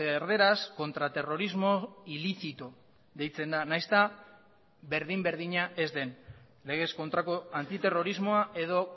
erdaraz contraterrorismo ilícito deitzen da nahiz eta berdin berdina ez den legez kontrako antiterrorismoa edo